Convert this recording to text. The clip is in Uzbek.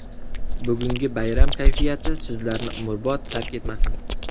Bugungi bayram kayfiyati sizlarni umrbod tark etmasin.